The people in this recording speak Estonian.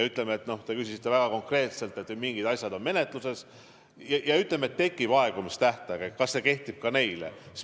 Te küsisite väga konkreetselt, et mingid asjad on menetluses ja kui jõuab kätte aegumistähtaeg, et kas see kehtib ka nende kohta.